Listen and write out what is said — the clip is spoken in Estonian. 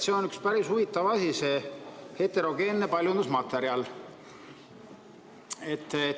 See on üks päris huvitav asi, see heterogeenne paljundusmaterjal.